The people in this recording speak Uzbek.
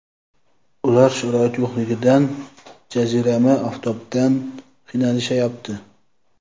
Ular sharoit yo‘qligidan, jazirama oftobdan qiynalishyapti.